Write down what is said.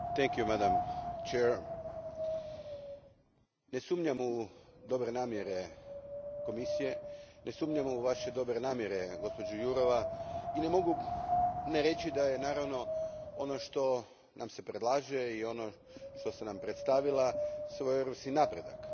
Gospođo predsjednice, ne sumnjam u dobre namjere Komisije, ne sumnjam u vaše dobre namjere gđo Jurova, i ne mogu ne reći da je, naravno, ono što nam se predlaže i što ste nam predstavili svojevrstan napredak.